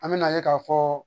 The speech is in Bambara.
An me na ye ka fɔ